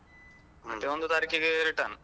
ಮತ್ತೆ ಒಂದು ತಾರೀಖಿಗೆ return.